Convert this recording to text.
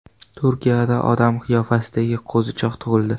Turkiyada odam qiyofasidagi qo‘zichoq tug‘ildi .